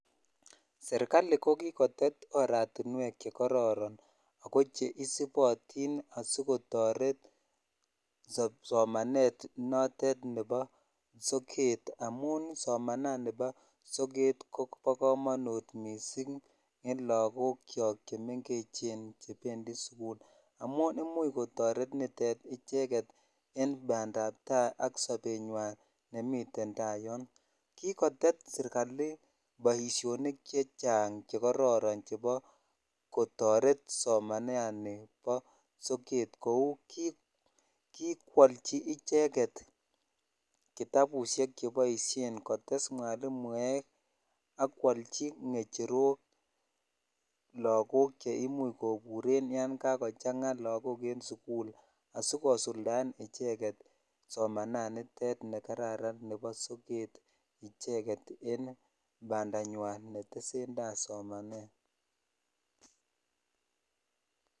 Serkali ko kikotet oratiwek che kororon ak che isipotin asikotorey somanet note nebo soket amun domananin soket kobo komonut missing en lokok chok chemengechen chependi sukul amun imuch kotoret nitet icheket en pandaptsi sk sobenywan nemi tai yon kikotet sirkali boishonik chechang che kororon kotoret somanani bo soket ko kikwolchi icheket kitabushek cheboishen kotes mwalimuek ak kwochi ngecherok lakok chr imuch koburen yan kakochang en sukul asikosuldaen icheket somanet ne kararan nebo soket en bandanywan netsen tai somanet.